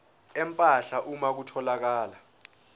empahla uma kutholakala